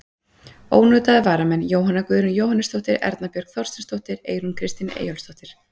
Ónotaðir varamenn: Jóhanna Guðrún Jóhannesdóttir, Erna Björk Þorsteinsdóttir, Eyrún Kristín Eyjólfsdóttir.